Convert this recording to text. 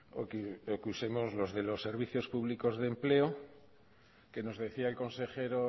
o que usemos los de los servicios públicos de empleo que nos decía el consejero